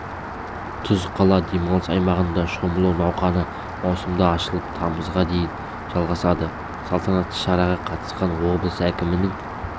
тұз қала демалыс аймағында шомылу науқаны маусымда ашылып тамызға дейін жалғасады салтанатты шараға қатысқан облыс әкімінің